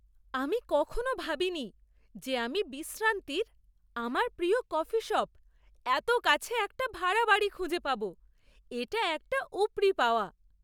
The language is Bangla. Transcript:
আমি কখনও ভাবিনি যে আমি বিশ্রান্তির আমার প্রিয় কফি শপ এত কাছে একটা ভাড়া বাড়ি খুঁজে পাব। এটা একটা উপরি পাওয়া!